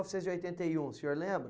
novecentos e oitenta e um, o senhor lembra?